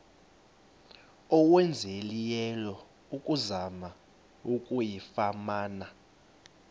owenzileyo ukuzama ukuyifumana